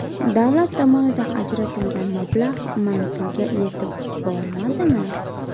Davlat tomonidan ajratilgan mablag‘ manzilga yetib bormadimi?